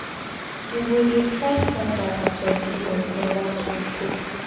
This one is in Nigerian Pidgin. You go dey try stand out as your business neva too grow.